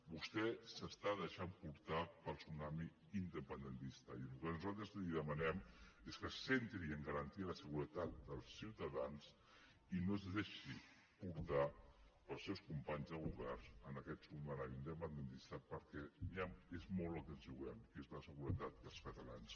vostè s’està deixant portar pel tsunami independentista i el que nosaltres li demanem és que es centri a garantir la seguretat dels ciutadans i no es deixi portar pels seus companys del govern en aquest tsunami independentista perquè és molt el que ens hi juguem que és la seguretat dels ciutadans